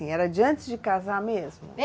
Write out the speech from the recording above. Era de antes de casar mesmo?